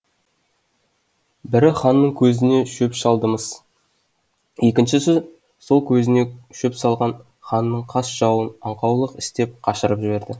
бірі ханның көзіне шөп салды мыс екіншісі сол көзіне шөп салған ханның қас жауын аңқаулық істеп қашырып жіберді